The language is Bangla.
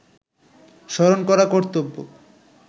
স্মরণ করা কর্ত্তব্য